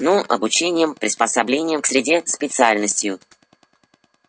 ну обучением приспособлением к среде специальностью